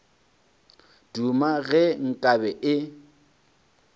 duma ge nka be e